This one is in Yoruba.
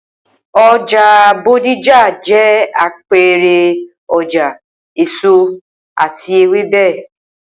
O̩jà Bódìjà jé̩ àpe̩e̩re̩ o̩jà èso àti ewébè